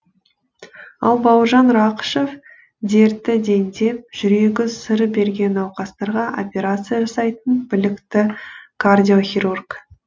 ал бауыржан рақышев дерті дендеп жүрегі сыр берген науқастарға операция жасайтын білікті кардиохирург